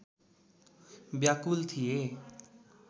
व्याकुल थिए